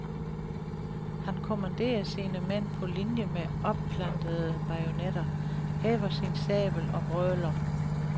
Han kommanderer sine mænd på linie med opplantede bajonetter, hæver sin sabel og brøler.